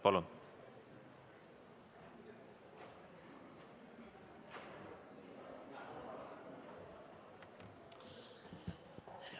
Palun!